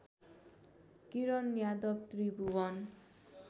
Kiran Yadav Tribhuvan